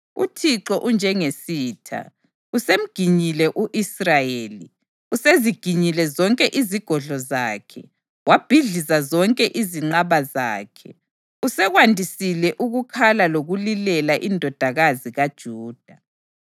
UThixo unjengesitha; usemginyile u-Israyeli. Useziginyile zonke izigodlo zakhe, wabhidliza zonke izinqaba zakhe. Usekwandisile ukukhala lokulilela iNdodakazi kaJuda.